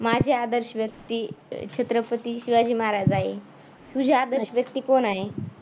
माझी आदर्श व्यक्ती छत्रपती शिवाजी महाराज आहे. तुझी आदर्श व्यक्ती कोण आहे?